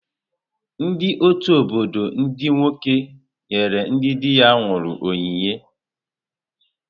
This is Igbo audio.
Ndị ọtù obodo ndị nwoke nyere ndị dị ha nwụrụ onyinye.